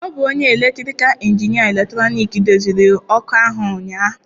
Ọ bụ onye elektrikal injinia eletrọnịkị doziri ọkụ ahụ ụnyahụ.